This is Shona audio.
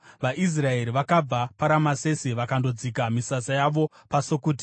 VaIsraeri vakabva paRamesesi vakandodzika misasa yavo paSukoti.